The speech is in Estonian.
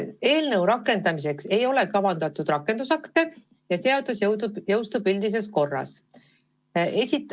Eelnõu rakendamiseks ei ole kavandatud rakendusakte ja seadus jõustub üldises korras.